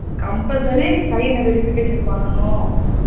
Compulsory sign னா verification பண்ணணும்